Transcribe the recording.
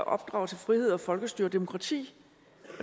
opdrage til frihed og folkestyre og demokrati